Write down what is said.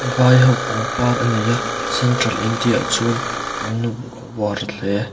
vai ho pangpar a nei a central india ah chuan an uar hle.